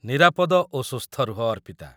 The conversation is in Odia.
ନିରାପଦ ଓ ସୁସ୍ଥ ରୁହ, ଅର୍ପିତା